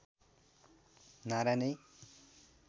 नारा नै